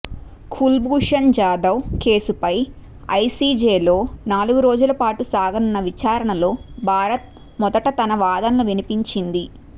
కుల్భూషణ్ జాదవ్ కేసుపై ఐసీజేలో నాలుగు రోజులపాటు సాగనున్న విచారణలో భారత్ మొదట తన వాదనలు వినిపించింది